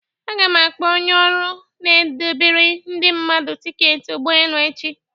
Aga m akpọ onye ọrụ n'edobere Ndị mmadu ticketị ụgbọelu echi